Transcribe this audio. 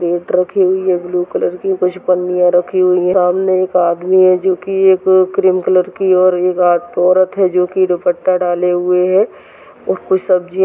plate रखी हुई है ब्लू कलर की कुछ पन्नियाँ रखी हुई है सामने एक आदमी है जोकि एक क्रीम कलर की और एक आ औरत है जोकि दुपट्टा डाले हुए है और कोई सब्जी --